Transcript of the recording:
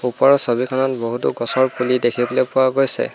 ওপৰৰ ছবিখনত বহুতো গছৰ পুলি দেখিবলৈ পোৱা গৈছে।